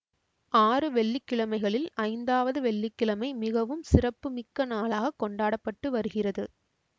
ஆறு வெள்ளி கிழமைகளில் ஐந்தாவது வெள்ளி கிழமை மிகவும் சிறப்பு மிக்க நாளாக கொண்டாட பட்டு வருகிறது